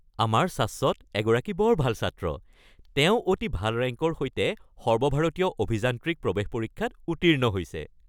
আমাৰ শাশ্বত এগৰাকী বৰ ভাল ছাত্ৰ! তেওঁ অতি ভাল ৰেংকৰ সৈতে সৰ্বভাৰতীয় অভিযান্ত্ৰিক প্ৰৱেশ পৰীক্ষাত উত্তীৰ্ণ হৈছে।